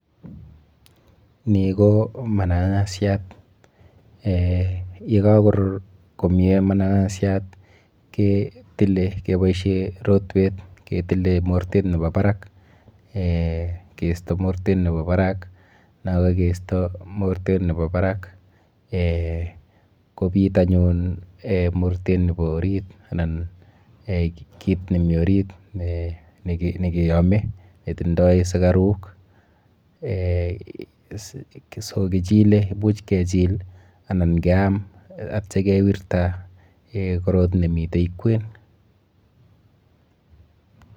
Ni ko mananashat. Eh yekakorur komie mananashat ketile keboishe rotwet ketile mortet nebo barak eh keisto mortet nebo barak. Nakakeisto mortet nepo barak eh kobit anyun eh mortet nepo orit anan kit nemi orit nekeame netindoi sukaruk eh so[cs[] kichile, imuch kechil anan keam atyo kewirta eh korot nemite kwen.